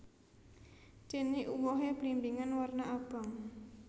Dene uwohe blimbingan warna abang